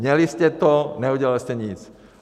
Měli jste to, neudělali jste nic.